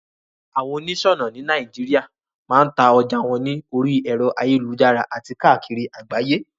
Àwon onísònà ni Naijiria ma n ta ojà won ni orí èro ayélujára àti kákìri àgbáyé